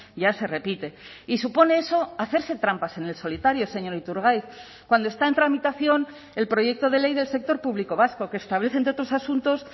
ya se repite y supone eso hacerse trampas en el solitario señor iturgaiz cuando está en tramitación el proyecto de ley del sector público vasco que establece entre otros asuntos